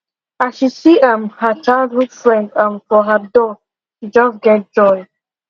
as she see um her childhood friend um for her door she just get joy